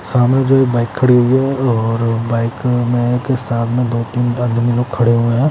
सामने जो है बाइक खड़ी हुई है और बाइक में के सामने दो-तीन आदमी लोग खड़े हुए हैं ।